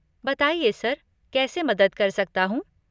बताइए सर, कैसे मदद कर सकता हूँ?